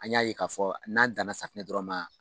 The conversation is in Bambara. An y'a ye k'a fɔ n'an danna safunɛ dɔrɔn ma